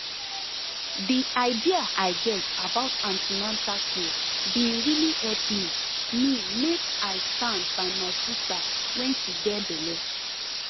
the idea i get about an ten atal care bin really help me me make i stand by my sister when she get belle